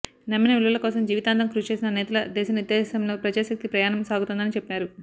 నమ్మిన విలువల కోసం జీవితాంతం కృషిచేసిన నేతల దిశానిర్దేశంలో ప్రజాశక్తి ప్రయాణం సాగుతోందని చెప్పారు